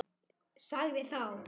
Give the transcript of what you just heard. Sagði þá